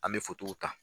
An bɛ ta